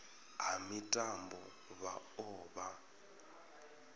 ha mitambo vha o vha